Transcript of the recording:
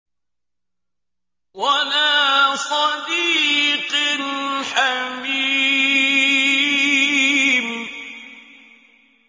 وَلَا صَدِيقٍ حَمِيمٍ